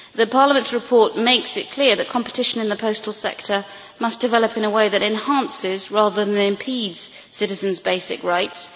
Parliament's report makes it clear that competition in the postal sector must develop in a way that enhances rather than impedes citizens' basic rights.